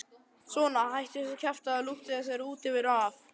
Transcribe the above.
Svona, hættu þessu kjaftæði og ljúktu þessari útiveru af.